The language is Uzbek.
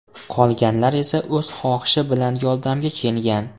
Qolganlar esa o‘z xohishi bilan yordamga kelgan.